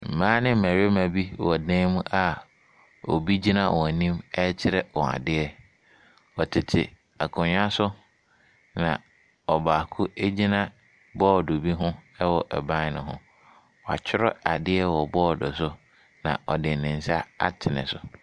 Mmaa ne mmarima wɔ dan mu a obi gyina wɔn anim rekyerɛ wɔn adeɛ. Wɔte akonnwa so na ɔbaako agyina bɔɔdo bi hom ɛwɔ ɛban no ho. Wakyerew adeɛ wɔ bɔɔde no so. Na ɔde ne nsa atene so.